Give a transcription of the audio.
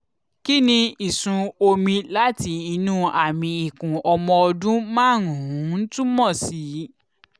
kí ni ìsun omi láti inú àmì ikùn ọmọ ọdún márùn-ún túmọ̀ sí?